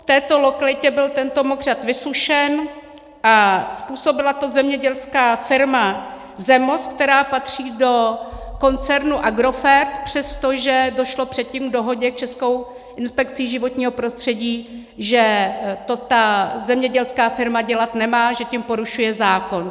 V této lokalitě byl tento mokřad vysušen a způsobila to zemědělská firmy ZEMOS, která patří do koncernu Agrofert, přestože došlo předtím k dohodě s Českou inspekcí životního prostředí, že to ta zemědělská firma dělat nemá, že tím porušuje zákon.